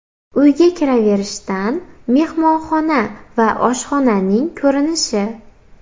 Uyga kiraverishdan mehmonxona va oshxonaning ko‘rinishi.